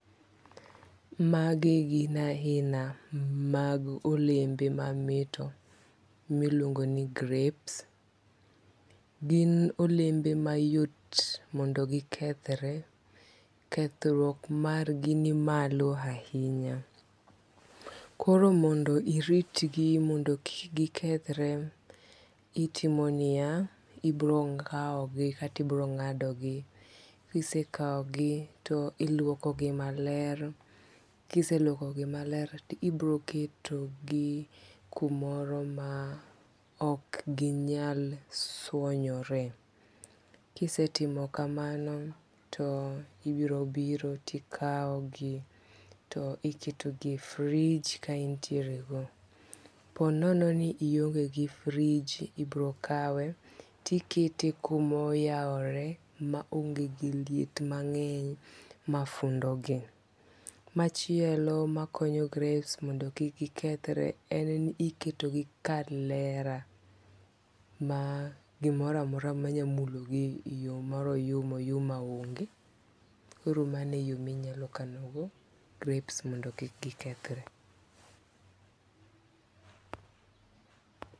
Magi gin aina mag olembe mamit miluongo ni grapes gin olembe mayot mondo gikethre kethruok margi ni malo ahinya koro mondo iritgi mondo kik gikethre itimo niya ibro kaogi katibro ng'ado gi kisekao gi to iluoko gi maler kiseluoko gi maler tibro keto gi kumoro maok ginyal swonyore. Kisetimo kamano to ibro biro to ikaogi to iketo gi e fridge kaintiero go, ponono ni iongo gi fridge ibrokawe tikete kumoyaore maonge gi liet mangeny mafundogi machielo makonyo grapes mondo kik gikethre en ni iketo gi kar lera ma gimoramora manyamulo gi e yoo mar oyumaoyuma onge koro maneyoo minyakano go grapes mondo kik gikethre